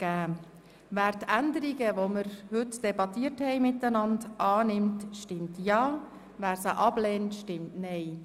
Wer die Änderungen, welche wir heute miteinander debattiert haben, annimmt, stimmt Ja, wer diese ablehnt, stimmt Nein.